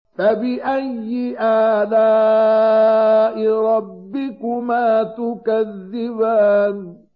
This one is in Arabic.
فَبِأَيِّ آلَاءِ رَبِّكُمَا تُكَذِّبَانِ